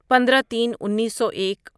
پندرہ تین انیسو ایک